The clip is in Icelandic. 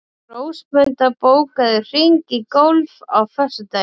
Rósmunda, bókaðu hring í golf á föstudaginn.